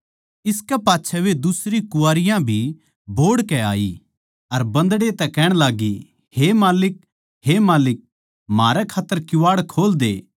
इसकै पाच्छै वे दुसरी कुँवारियाँ भी बोहड़कै आई अर बन्दड़े तै कहण लाग्गी हे माल्लिक हे माल्लिक म्हारै खात्तर किवाड़ खोल दे